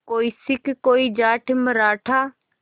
कोई सिख कोई जाट मराठा